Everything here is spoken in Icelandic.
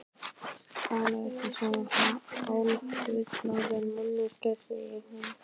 Talaðu ekki svona, hálffullorðin manneskjan, segir hún.